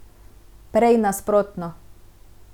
Prej nasprotno.